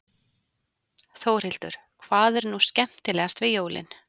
Þórhildur: Hvað er nú skemmtilegast við jólin?